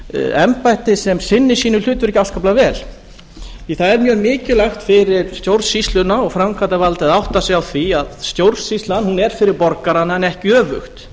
embætti sem sinnir sínu hlutverki afskaplega vel því að það er mjög mikilvægt fyrir stjórnsýsluna og framkvæmdarvaldið að átta sig á því að stjórnsýslan er fyrir borgarana en ekki öfugt